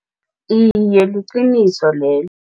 Iye, liqiniso lelo.